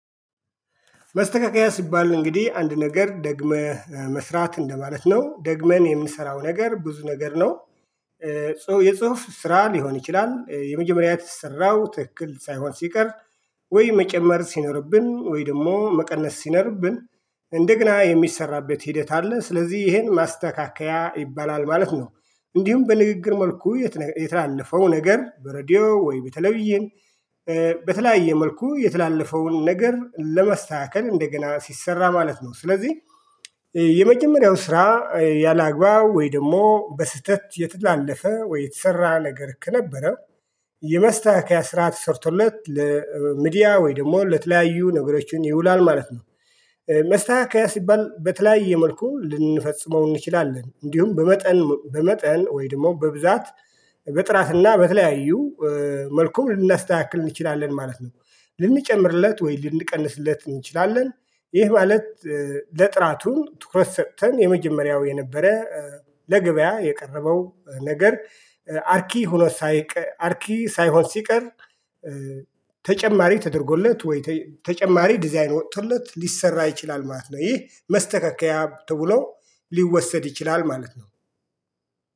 መስተካከያ ሲባል እንግዲህ አንድ ነገር ደግመህ መስራት እንደማለት ነው ደግመን የምንሰራው ነገር ብዙ ነገር ነው። የጽሁፍ ስራ ሊሆን ይችላል የመጀመሪያ የተሰራው ትክክል ሳይሆን ሲቀር ወይ መጨመር ሲኖርብን ወይ ደግሞ መቀነስ ሲኖርብን እንደግና የሚሰራበት ሂደት አለ ስለዚህ ይሄን ማስተካከያ ይባላል ማለት ነው። እንዲሁም በንግግር መልኩ የተላለፈው ነገር በሬዲዮ ወይ በቴሌቪዥን። በተለያየ መልኩ የተላለፈውን ነገር ለመስተካከል እንደገና ሲሰራ ማለት ነው ስለዚህ። የመጀመሪያው ስራ። ያላግባብ ወይ ደግሞ በስህተት የተላለፈ ወይ የተሰራ ነገር ከነበረ የመስተካከያ ስርዓት ተሰርቶለት ለሚዲያ ወይ ደግሞ ለተለያዩ ነገሮችን ይውላል ማለት ነው። መስተካከያ ሲባል በተለያየ መልኩ ልንፈጽመው እንችላለን እንዲሁም በመጠን በመጠን ወይ ደግሞ በብዛት በጥራትና በተለያዩ መልኩም ልናስተካክል እንችላለን ማለት ነው። ልንጨምርለት ወይ ልንቀንስለት እንችላለን። ይህ ማለት ለጥራቱን ትኩረት ሰጥተን የመጀመሪያው የነበረ ለገበያ የቀረበው ነገር። አርኪ ሳይሆን ሲቀር ተጨማሪ ተደርጎለት ወይ ተጨማሪ ዲዛይን ወጥቶለት ሊሰራ ይችላል ማለት ነው። ይህ መስተካከያ ተብሎ ሊወሰድ ይችላል ማለት ነው